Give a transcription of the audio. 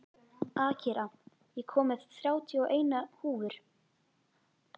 Akira, ég kom með þrjátíu og eina húfur!